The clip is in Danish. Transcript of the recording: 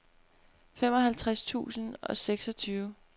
femoghalvtreds tusind og seksogtyve